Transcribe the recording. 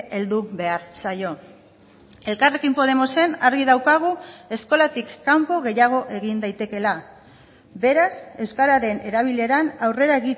heldu behar zaio elkarrekin podemosen argi daukagu eskolatik kanpo gehiago egin daitekeela beraz euskararen erabileran aurrera